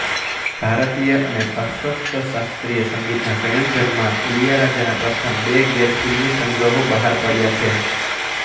ભારતીય અને પાશ્ચાત્ય શાસ્ત્રીય સંગીતના સંયોજનમાં ઇલીયારાજાના પ્રથમ બે ગેરફિલ્મી સંગ્રહો બહાર પડ્યાં છે